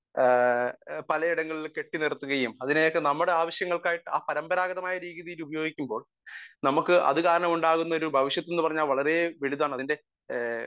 speaker 1 പലയിടങ്ങളിലും കെട്ടി നിർത്തുകയും അതിനെയൊക്കെ നമ്മുടെ ആവശ്യങ്ങൾക്ക് ആയിട്ട് ആ പാരമ്പരാഗതമായിട്ടുള്ള രീതിയിൽ ഉപയോഗിക്കുമ്പോൾ നമ്മക് അത് കാരണം ഉണ്ടാവുന്ന ഭവിഷ്യത്തു എന്ന് പറയുന്നത് വളരെ വലുതാണ് അതിന്റെ